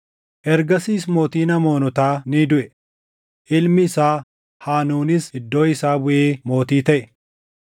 Ergasiis mootiin Amoonotaa ni duʼe; ilmi isaa Haanuunis iddoo isaa buʼee mootii taʼe.